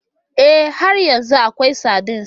Ee, har yanzu akwai sardines.